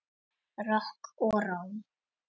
Rokk og ról.